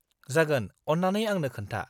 जागोन, अन्नानै आंनो खोन्था।